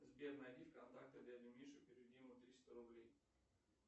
сбер найди в контактах дядю мишу переведи ему триста рублей